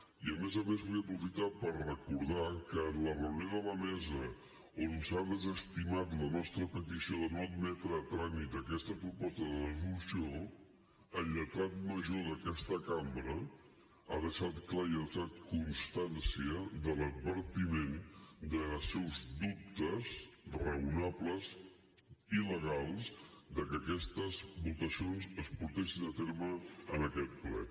i a més a més vull aprofitar per recordar que en la reunió de la mesa on s’ha desestimat la nostra petició de no admetre a tràmit aquesta proposta de resolució el lletrat major d’aquesta cambra ha deixat clar i ha deixat constància de l’advertiment dels seus dubtes raonables i legals que aquestes votacions es portessin a terme en aquest ple